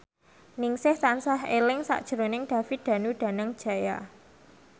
Ningsih tansah eling sakjroning David Danu Danangjaya